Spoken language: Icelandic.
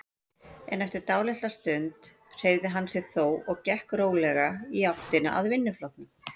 En eftir dálitla stund hreyfði hann sig þó og gekk rólega í áttina að vinnuflokknum.